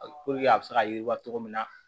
a bɛ se ka yiriwa cogo min na